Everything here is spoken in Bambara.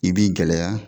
I b'i gɛlɛya